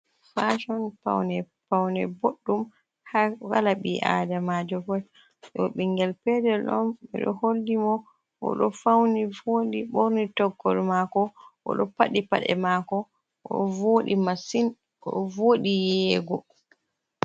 fashon paune paune boddum ha walabi adamajo pot do bingel pedel don mido holdi mo o do fauni vodi borni toggol mako o do paddi pade mako masin o vodi yeyego